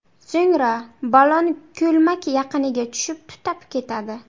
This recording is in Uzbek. So‘ngra ballon ko‘lmak yaqiniga tushib, tutab ketadi.